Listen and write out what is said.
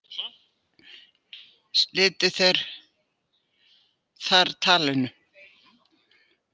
Slitu þeir þar talinu.